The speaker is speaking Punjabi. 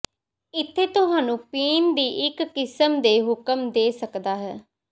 ਇੱਥੇ ਤੁਹਾਨੂੰ ਪੀਣ ਦੀ ਇੱਕ ਕਿਸਮ ਦੇ ਹੁਕਮ ਦੇ ਸਕਦਾ ਹੈ